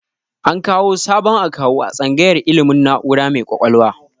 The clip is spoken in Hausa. An kawu sabon akawu a tsangayar ilmin na'ura mai kwakwalwa